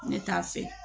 Ne t'a fɛ